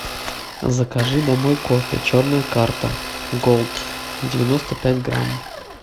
закажи домой кофе черная карта голд девяносто пять грамм